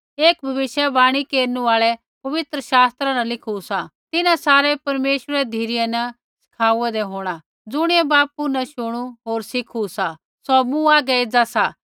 एक भविष्यवाणी केरनु आल़ै पवित्र शास्त्रा न लिखू सा तिन्हां सारै परमेश्वरै री धिरै न सिखाऊंदे होंणा ज़ुणियै बापू न शुणु होर सिखु सा सौ मूँ हागै एज़ा सा